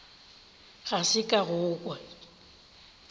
ga se ka go kwa